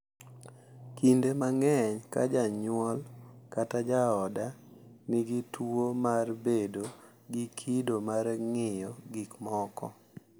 Kinde mang’eny, ka janyuol kata jaoda nigi tuwo mar bedo gi kido mar ng’iyo gik moko, .